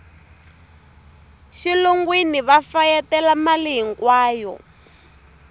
xilungwini va fayetela mali hinkwayo